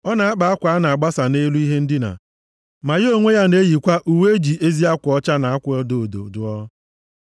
Ọ na-akpa akwa a na-agbasa nʼelu ihe ndina, ma ya onwe ya na-eyikwa uwe e ji ezi akwa ọcha na akwa odo odo + 31:22 Nʼoge ochie, naanị ndị ọgaranya na-eyi uwe na-acha odo odo, nʼihi na ọ bụ akwa dị oke ọnụ. dụọ.